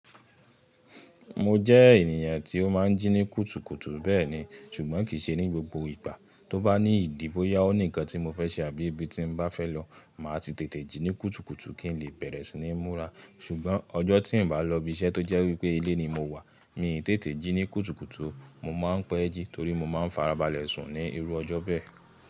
Mo jẹ́ ènìyàn tí ó máa ń jí ní kùtùkùtù bẹ́ẹ̀ni, ṣùgbọ́n kì í ṣe ní gbogbo ìgbà. Tó bá ní ìdì bòyá ó ní nǹkan tí mo fẹ́ ṣe àbí ibi tí m bá fẹ́ lọ, màá ti tètè jí ní kùtùkùtù kí n lè bẹ̀rẹ̀ sí níi múra. Ṣùgbọ́n ọjọ́ tí n bá lọ ibi iṣẹ́ tó jẹ́ wípé ilé ni mo wà, mi n tètè jí ní kùtùkùtù, mo máa ń pẹ́ ẹ́ jí torí mo máa ń farabalẹ̀ sùn ní irú ọjọ́ bẹ́ẹ̀.